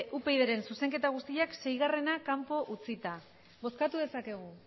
upyd taldearen zuzenketa guztiak seigarrena kanpo utzita bozkatu dezakegu